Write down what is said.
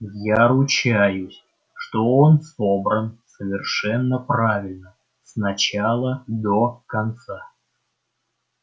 я ручаюсь что он собран совершенно правильно с начала до конца